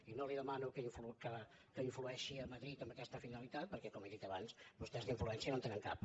i no li demano que influeixi a madrid amb aquesta finalitat perquè com he dit abans vostès d’influència no en tenen cap